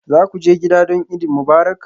Za ku je gida don Eid Mubarak?